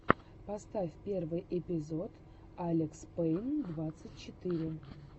поставь первый эпизод алекспейн двадцать четыре